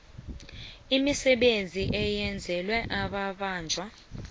imisebenzi eyenzelwa amabanjwa